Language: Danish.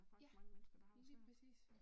Ja, lige præcis